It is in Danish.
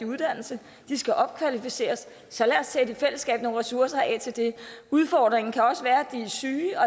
uddannelse og skal opkvalificeres så lad os i fællesskab sætte nogle ressourcer af til det udfordringen kan også være at de er syge og